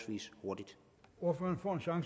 ordet